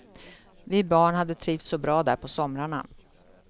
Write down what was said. Vi barn hade trivts så bra där på somrarna.